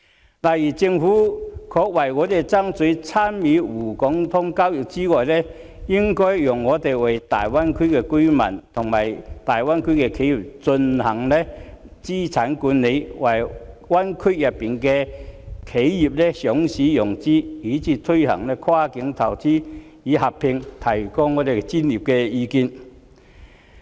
舉例而言，政府除可為我們爭取參與港股通的交易之外，還應該讓我們為大灣區的居民和企業進行資產管理，為灣區內的企業上市融資，以至進行跨境投資及合併，提供專業的意見。